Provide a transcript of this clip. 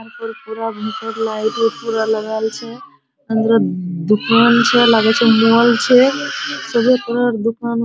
यहाँ पर पूरा भीतर लाइट उइट पूरा लगाल छे | अंदर दू दुकान छे लागे छे मॉल छे | सभी पहर दुकान --